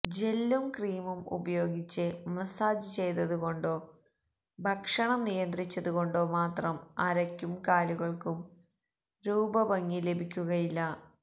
ജെല്ലും ക്രീമും ഉപയോഗിച്ച് മസ്സാജ് ചെയ്തതു കൊണ്ടോ ഭക്ഷണം നിയന്ത്രിച്ചതു കൊണ്ടോ മാത്രം അരയ്ക്കും കാലുകള്ക്കും രൂപ ഭംഗി ലഭിക്കുകയില്ല